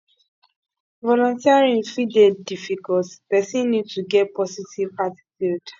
volunteering fit dey difficult person need to get positive attitude